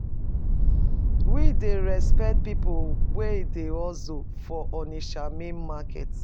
We dey respect pipo wey dey hustle for Onitsha main market.